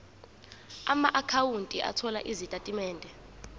amaakhawunti othola izitatimende